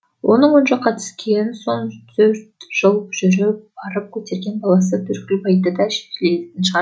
оның оң жаққа түскен соң төрт жыл жүріп барып көтерген баласы төрткілбайды да білетін шығар